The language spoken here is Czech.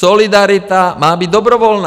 Solidarita má být dobrovolná!